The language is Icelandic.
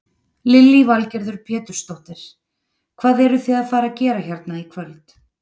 Lillý Valgerður Pétursdóttir: Hvað eruð þið að fara að gera hérna í kvöld?